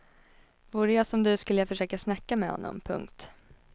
Vore jag som du skulle jag försöka snacka med honom. punkt